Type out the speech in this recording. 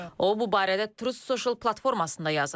O bu barədə Trust Social platformasında yazıb.